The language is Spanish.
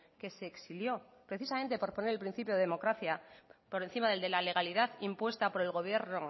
que se exilió precisamente por poner el principio de democracia por encima del de la legalidad impuesta por el gobierno